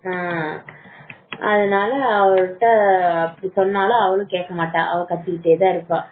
நான் அதனால அவர்கிட்ட அவர் சொன்னாலும் கேட்க மாட்டார் அவ கத்திட்டே தான் இருப்பா